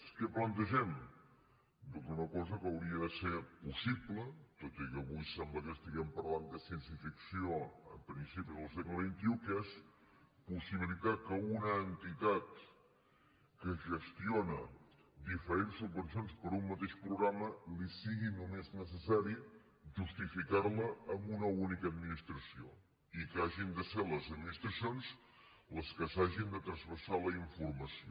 què plantegem doncs una cosa que hauria de ser possible tot i que avui sembla que estiguem parlant de ciència ficció al principi del segle xxitar que a una entitat que gestiona diferents subvencions per a un mateix programa li sigui només necessari justificar la a una única administració i que hagin de ser les administracions les que s’hagin de transvasar la informació